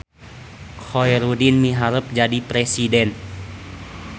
Khoerudin miharep jadi presiden